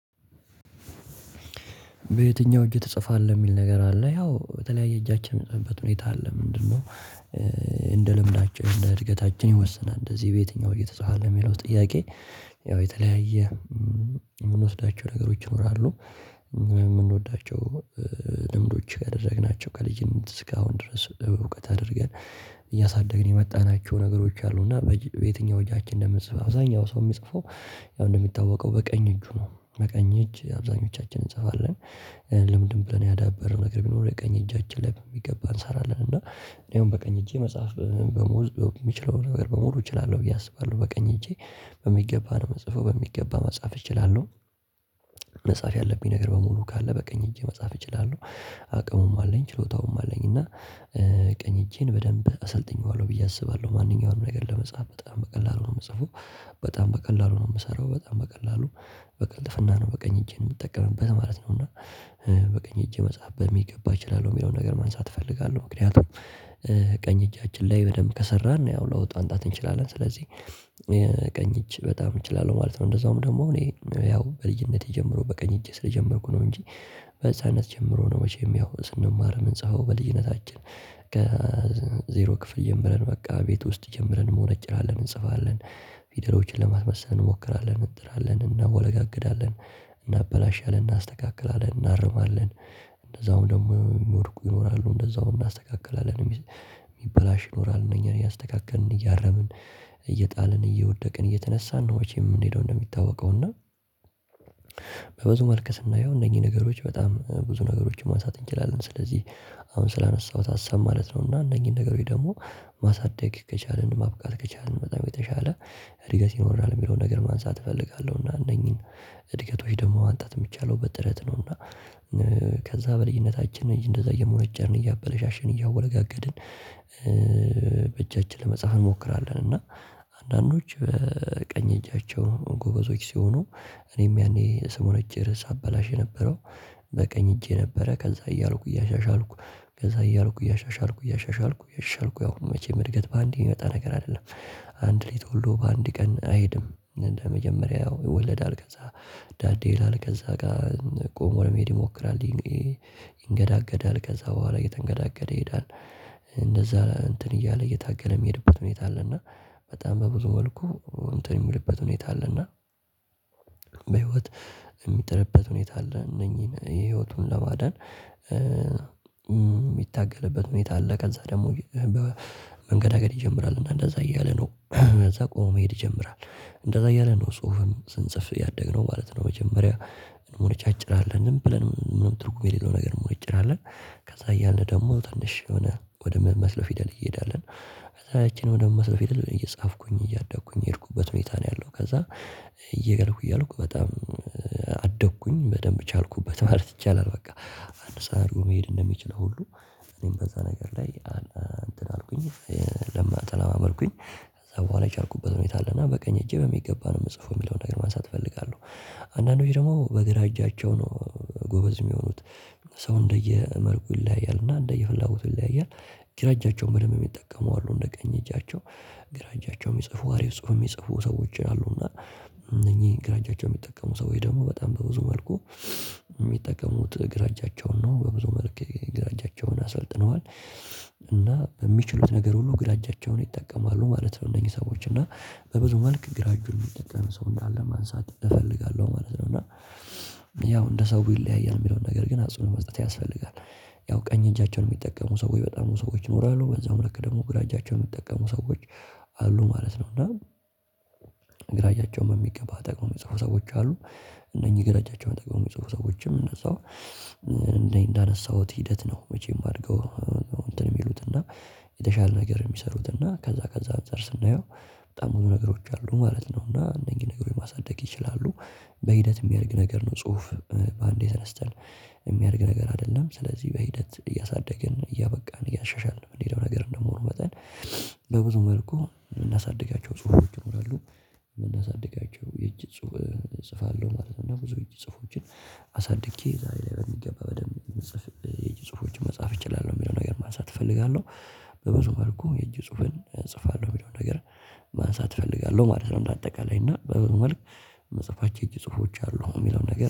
በየትኛው እጅህ ትጽፋለህ የሚል ነገር አለ ያው በተለያየ እጃችን እምንጽሐፍበት ሁኔታ አለ ምንድነው? እንደ ልምዳችን እንደ እድገታችን ይወሰናል እንደዚህ በየትኛው እየተጻፈ የሚለው ጥያቄ ያው የተለያየ የምንወስዳቸው ነገሮች ይኖራሉ የምንወዳቸው ልምዶች ያደረግናቸው ከልጅም እስካሁን ድረስ እውቀት አድርገን እያሳደግን የመጣናቸው ነገሮች አሉ። እና በየትኛው እጃችን እንደምንጽፍ አብዛኛው ሰው የሚጽፈው ያው እንደሚታወቀው በቀኝ እጁ ነው በቀኝ እጅ አብዛኞቻችን እንጽፋለን። ልምድም ብለን ያዳበረን ነገር ቢኖር የቀኝ እጅ ላይ በሚገባ እንሰራለን እና እኔ አሁን በቀኝ እጄ መጻፍ በሙሉ የሚችለው በሙሉ እችላለሁ ብዬ አስባለሁ በቀኝ እጄ በሚገባ ነው ምጽፈው በሚገባ መጻፍ እችላለሁ። መጻፍ ያለብኝ ነገር በሙሉ ካለ በቀኝ እጄ መጻፍ እችላለሁ። አቅሙም አለኝ ችሎታውም አለኝ እና ቀኝ እጄን በደንብ አሰልጥኜዋለሁ ብዬ አስባለሁ ማንኛውንም ነገር ለመጻፍ በጣም በቀላሉ ነው የምጽፈው በጣም በቀላሉ ነው የምሰራው በጣም በቀላሉ በቅልጥፍና ነው በቀኝ እጄን የምጠቀምበት ማለት ነው። እና በቀኝ እጄ መጻፍ በሚገባ እችላለሁ የሚለውን ነገር ማንሳት እፈልጋለሁ ምክንያቱም ቀኝ እጃችን ላይ በደንብ ከሰራን ያው ለውጥ አናመጣለት እንችላለን ስለዚህ ቀኝ እጅ በጣም እችላለሁ ማለት ነው። እንደዛውም ደግሞ እኔ ያው ከልጅነቴ ጀምሮ በቀኝ እጄ ስለጀመርኩ ነው እንጂ ከህፃንነት ጀምሮ ነው። መቼም ያው ስንማር ምንጽፈው በልጅነታችን ከዜሮ ክፍል ጀምረን በቃ ቤት ውስጥ ጀምረን እንሞነጭራለን እንጽፋለን እንጽፋለን ፊደሎችን ለማስመሰል እንሞክራለን እንጥራለን እናወለጋግዳለን እናበላሻለን እናስተካክላለን እናርማለን። እንደዛውም ደግሞ የሚወድቁ ይኖራሉ እንደዛውም እናስተካክላለን የሚበላሽ ይኖራል እነኛን እያስተካከልን እያረምን እየጣልን እየወደቅን እየተነሳን ነው የምንሄደው። እንደሚታወቀው እና በብዙ መልኩ ስናየው እነኚህ ነገሮች በጣም ብዙ ነገሮችን ማንሳት እንችላለን ስለዚህ አሁን ስላነሳሁት ሀሳብ ማለት ነው እና እነኚህን ነገሮች ደግሞ ማሳደግ ከቻልን ማብቃት ከቻልን በጣም የተሻለ እድገት ይኖራል የሚለውን ነገር ማንሳት እፈልጋለሁ። እና እነኚህን እድገቶች ደግሞ ማምጣጥ የምቻለው በጥረት ነው። እና ከዛ በልጅነታችን እንደዛ እየሞነጨን እያበላሸን እያወለጋገድን በእጃችን ለመጻፍ እንሞክራለን እና አንዳንዶች በቀኝ እጃቸው ጎበዞች ሲሆኑ እኔም ያኔ ስሞነጭ ሳበላሽ የነበረው በቀኝ እጄ ነበረ ከዛ እያልኩ እያሻሻልኩ ከዛ እያልኩ እያሻሻልኩ እያሻሻልኩ እያሻሻልኩ ያው መቼም እድገት በአንዴ የሚመጣ ነገር አይደለም። አንድ ሌት ሁሉ በአንድ ቀን አይሄድም እደመጀመሪያ ያው ይወለዳል ከዛ ዳዴ ይላል ከዛ ጋር ቆሞ ለመሄድ ይሞክራል ይንገዳገዳል ከዛ በኋላ እየተንገዳገደ ይሄዳል እንደዛ እንትን እያለ እየታገለ የሚሄድበት ሁኔታ አለ። እና በጣም በብዙ መልኩ እንትን የሚልበት ሁኔታ አለ እና በህይወት የሚጥርበት ሁኔታ አለ እነዚህን ህይወቱን ለማዳን የሚታገልበት ሁኔታ አለ። ከዛ ደግሞ መንገዳገድ ይጀምራል እና እንደዛ እያለ ነው ከዛ ቆሞ መሄድ ይጀምራል እንደዛ እያለ ነው ጽሁፍም ስንጽፍ ያደግነው ማለት ነው። መጀመሪያ እንሞጫጭራለን ዝምብለን ምንም ትርጉም የሌለው ነገር እ እ እ እንሞነጭራለን። ከዛ እያለ ደግሞ ትንሽ የሆነ ወደ ምመስለው ፊደል እንሄዳለን ከዛ እቺን ወደምመስለው ፊደል እየጻፍኩኝ እያደኩኝ የሄድኩበት ሁኔታ ነው ያለው። ከዛ እየገልኩ እያልኩ በጣም አደኩኝ በደንብ ቻልኩበት ማለት ይቻላል። በቃ አንድ ሰው አድጎ መሄድ እንደሚችለው ሁሉ እኔም በዛ ነገር ላይ እንትን አልኩኝ ተለማመድኩኝ ከዛ በኋላ የቻልኩበት ሁኔታ አለ እና በቀኝ እጄ በሚገባ ነው የምጽፈው የሚለውን ነገር ማንሳት እፈልጋለሁ። አንዳንዶች ደግሞ በግራ እጃቸው ነው ጎበዝ የሚሆኑት ሰው እንደየ መልኩ ይለያያል እና እንደየ ፍላጎት ይለያያል። ግራጃቸውን በደንብ የሚጠቀሙ አሉ እንደ ቀኝ እጃቸው ግራ እጃቸው የሚጽፉ አሪፍ ጽሁፍ የሚጽፉ ሰዎች አሉ። እና እነኚህ ግራ ጃቸው የሚጠቀሙ ሰዎች ደግሞ በጣም በብዙ መልኩ የሚጠቀሙት ግራ እጃቸውን ነው በብዙ መልክ የግራ እጃቸውን አሰልጥነዋል እና በሚችሉት ነገር ሁሉ ግራ እጃቸውን ይጠቀማሉ ማለት ነው። እነዚህ ሰዎች እና በብዙ መልክ ግራጁን የሚጠቀም ሰው እንዳለ ማንሳት እፈልጋለሁ ማለት ነው። እና ያው እንደ ሰው ይለያያል የሚለውን ነገር ግን አጽንኦት መጽሐፍ ያስፈልጋል ያው ቀኝ እጃቸውን የሚጠቀሙ ሰዎች በጣም ብዙ ሰዎች ኖራሉ በዛው መልኩ ደግሞ ግራ እጃቸውን የሚጠቀሙ ሰዎች አሉ ማለት ነው። እና ግራ እጃቸውን በሚገባ ተጠቅመው የሚጽፉ ሰዎች አሉ እነኚህ ግራ እጃቸውን ተጠቅመው የሚጽፉ ሰዎችም እደዛው እንዳነሳሁት ሂደት ነው። መቼም አድገው ነው እንትን የሚሉት እና የተሻለ ነገር የሚሰሩት እና ከዛ ከዛ አንፃር ስናየው በጣም ብዙ ነገሮች አሉ ማለት ነው። እና እነዚህን ነገሮች ማሳደግ ይችላሉ በሂደት የሚያድግ ነገር ነው ጽሁፍ በአንዴ ተነስተን የሚያድግ ነገር አይደለም። ስለዚህ በሂደት እያሳደግን እያበቃን እያሻሻልን የምንሄደው ነገር እንደመሆኑ መጠን በብዙ መልኩ እምናሳድጋቸው ጽሁፎች ይኖራሉ። እምናሳድጋቸው የእጅ እጽፋለሁ ማለት ነው ብዙ የእጅ ጽሁፎችን አሳድጌ ዛሬ ላይ በሚገባ በደንብ የእጅ መጻፍ እችላለሁ። የሚለውን ነገር ማንሳት እፈልጋለሁ በብዙ መልኩ የእጅ ጽሁፍን እጽፋለሁ የሚለውን ነገር ማንሳት እፈልጋለሁ ማለት ነው። እንደአጠቃላይ እና በብዙመልክ እምጽፋቸው የእጅ ጽሁፎች አሉ የሚለውን ነገር